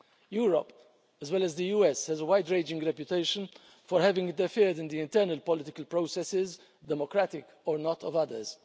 Europe, as well as the US, has a wide-ranging reputation for having interfered in the internal political processes, democratic or not, of others.